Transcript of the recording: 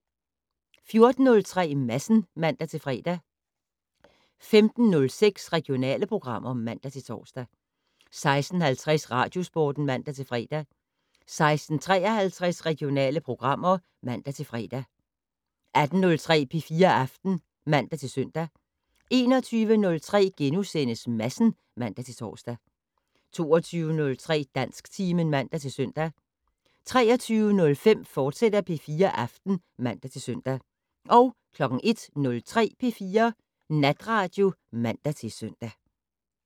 14:03: Madsen (man-fre) 15:06: Regionale programmer (man-tor) 16:50: Radiosporten (man-fre) 16:53: Regionale programmer (man-fre) 18:03: P4 Aften (man-søn) 21:03: Madsen *(man-tor) 22:03: Dansktimen (man-søn) 23:05: P4 Aften, fortsat (man-søn) 01:03: P4 Natradio (man-søn)